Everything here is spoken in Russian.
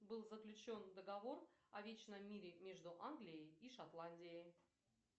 был заключен договор о вечном мире между англией и шотландией